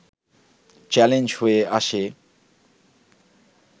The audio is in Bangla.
চ্যালেঞ্জ হয়ে আসে